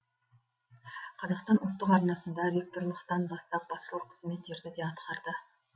қазақстан ұлттық арнасында ректорлықтан бастап басшылық қызметтерді де атқарды